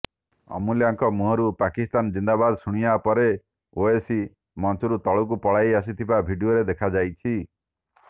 ଅମୂଲ୍ୟାଙ୍କ ମୁହଁରୁ ପାକିସ୍ତାନ ଜିନ୍ଦାବାଦ ଶୁଣିବା ପରେ ଓୱେସୀ ମଞ୍ଚରୁ ତଳକୁ ପଳାଇ ଆସିଥିବା ଭିଡିଓରେ ଦେଖାଯାଉଛି